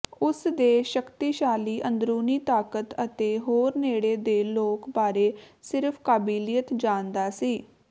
ਉਸ ਦੇ ਸ਼ਕਤੀਸ਼ਾਲੀ ਅੰਦਰੂਨੀ ਤਾਕਤ ਅਤੇ ਹੋਰ ਨੇੜੇ ਦੇ ਲੋਕ ਬਾਰੇ ਸਿਰਫ਼ ਕਾਬਲੀਅਤ ਜਾਣਦਾ ਸੀ